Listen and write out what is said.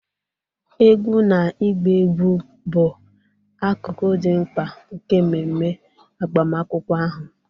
Egwú na ịgba egwú bụ akụkụ dị mkpa nke mmeme agbamakwụkwọ ahụ.